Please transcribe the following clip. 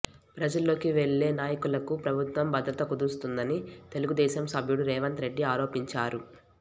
ప్రజల్లోకి వెళ్లే నాయకులకు ప్రభుత్వం భద్రత కుదిస్తోందని తెలుగుదేశం సభ్యుడు రేవంత్ రెడ్డి ఆరోపించారు